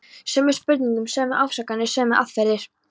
Sömu spurningar, sömu ásakanir, sömu aðferðir.